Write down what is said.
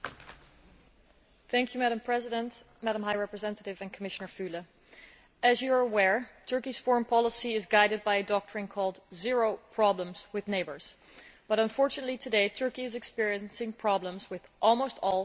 Madam President, as the High Representative and Commissioner Füle are aware, Turkey's foreign policy is guided by a doctrine called zero problems with neighbours' but, unfortunately, today Turkey is experiencing problems with almost all its neighbouring countries.